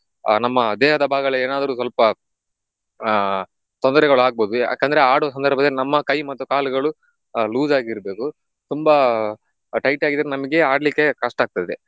ಆಹ್ ನಮ್ಮ ದೇಹದ ಭಾಗಗಳಿಗೆ ಏನಾದ್ರೂ ಸ್ವಲ್ಪ ಆಹ್ ತೊಂದರೆಗಳು ಆಗ್ಬೋದು ಯಾಕಂದ್ರೆ ಆಡುವ ಸಂದರ್ಭದಲ್ಲಿ ನಮ್ಮ ಕೈ ಮತ್ತು ಕಾಲುಗಳು loose ಆಗಿರ್ಬೇಕು ತುಂಬಾ tight ಆಗಿದ್ರೆ ನಮ್ಗೆ ಆಡ್ಲಿಕ್ಕೆ ಕಷ್ಟಾಗ್ತದೆ.